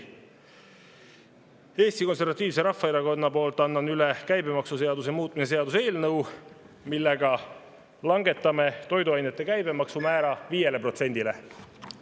Annan Eesti Konservatiivse Rahvaerakonna poolt üle käibemaksuseaduse muutmise seaduse eelnõu, mille kohaselt langetataks toiduainete käibemaksumäär 5%‑le.